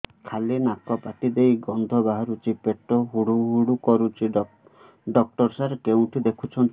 ଖାଲି ନାକ ପାଟି ଦେଇ ଗଂଧ ବାହାରୁଛି ପେଟ ହୁଡ଼ୁ ହୁଡ଼ୁ କରୁଛି ଡକ୍ଟର ସାର କେଉଁଠି ଦେଖୁଛନ୍ତ